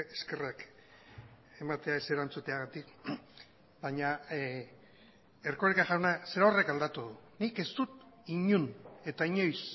eskerrak ematea ez erantzuteagatik baina erkoreka jauna zerorrek aldatu nik ez dut inon eta inoiz